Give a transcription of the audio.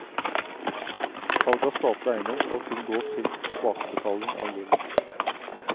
Salg av statlig eiendom skal kun gå til tilbakebetaling av gjeld.